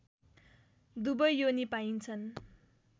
दुवै योनी पाइन्छन्